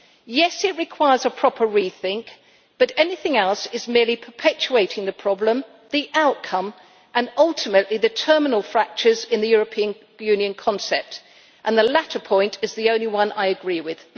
Yes, it requires a proper rethink, but anything else is merely perpetuating the problem, the outcome and, ultimately, the terminal fractures in the European Union concept, and the latter point is the only one I agree with.